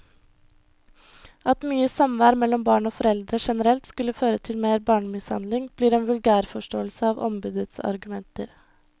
At mye samvær mellom barn og foreldre generelt skulle føre til mer barnemishandling, blir en vulgærforståelse av ombudets argumenter.